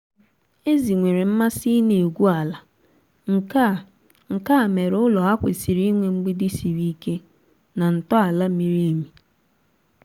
ezi nwere mmasị ịna-egwu ala nkea nkea mere ụlọ ha kwesịrị inwe mgbidi siri ike na ntọala miri emi